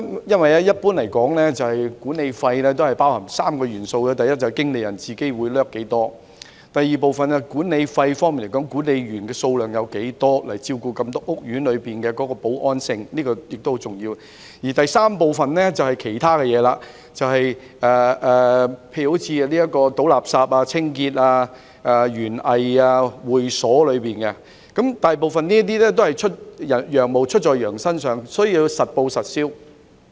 一般來說，管理費包含3個元素，第一，管理公司的經理人費用；第二，負責整個屋苑保安工作的管理員數目；及第三，其他事項，例如垃圾處理、屋苑清潔、園藝及會所等。大部分費用都是"羊毛出在羊身上"，需要實報實銷。